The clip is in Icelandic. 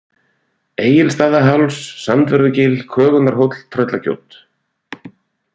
Egilsstaðaháls, Sandvörðugil, Kögunarhóll, Tröllagjót